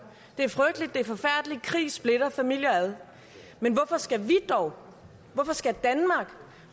det er frygteligt det er forfærdeligt krig splitter familier ad men hvorfor skal vi dog hvorfor skal danmark